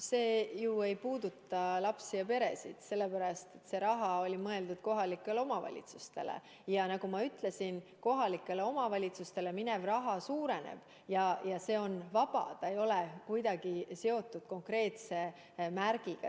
See ju ei puuduta lapsi ja peresid, sellepärast et see raha oli mõeldud kohalikele omavalitsustele ja nagu ma ütlesin, kohalikele omavalitsustele minev raha suureneb ja see on vaba, see ei ole kuidagi seotud konkreetse märgiga.